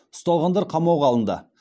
ұсталғандар қамауға алынды